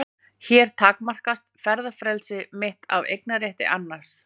Hér takmarkast ferðafrelsi mitt af eignarétti annars.